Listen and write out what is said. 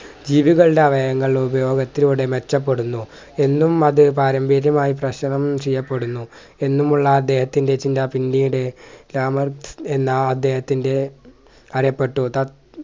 ജീവികളുടെ അവയങ്ങൾ ഉപയോഗത്തിലൂടെ മെച്ചപ്പെടുന്നു എന്നും അതിൽ പാരമ്പര്യമായി കഷണം ചെയ്യപ്പെടുന്നു എന്നുമുള്ള അദ്ദേഹത്തിൻ്റെ ചിന്ത പിന്നീട് രാമൻ എന്ന അദ്ദേഹത്തിൻ്റെ അറിയപ്പെട്ടു